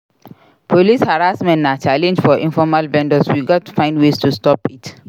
Police harassment na challenge for informal vendors; we gats find ways to stop it.